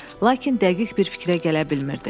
Lakin dəqiq bir fikrə gələ bilmirdi.